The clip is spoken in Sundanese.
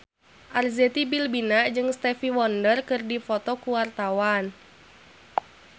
Arzetti Bilbina jeung Stevie Wonder keur dipoto ku wartawan